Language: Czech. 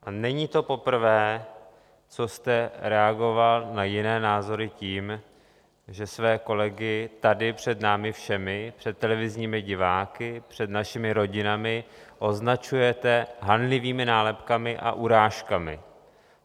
A není to poprvé, co jste reagoval na jiné názory tím, že své kolegy tady před námi všemi, před televizními diváky, před našimi rodinami označujete hanlivými nálepkami a urážkami.